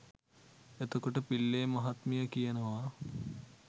එතකොට පිල්ලේ මහත්මිය කියනවා